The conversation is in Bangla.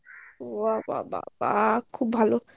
বাহ বাহ বাহ খুব ভালো